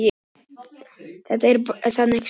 Þetta er þannig séð stopp